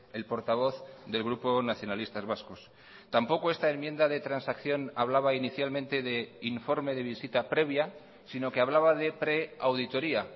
el portavoz del grupo nacionalistas vascos tampoco esta enmienda de transacción hablaba inicialmente de informe de visita previa sino que hablaba de preauditoría